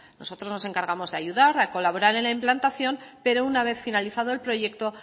nosotros nos encargamos de ayudar de colaborar en la implantación pero una vez finalizado el proyecto